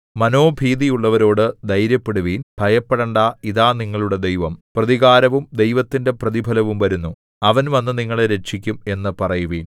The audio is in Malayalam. മനോഭീതിയുള്ളവരോട് ധൈര്യപ്പെടുവിൻ ഭയപ്പെടണ്ടാ ഇതാ നിങ്ങളുടെ ദൈവം പ്രതികാരവും ദൈവത്തിന്റെ പ്രതിഫലവും വരുന്നു അവൻ വന്നു നിങ്ങളെ രക്ഷിക്കും എന്നു പറയുവിൻ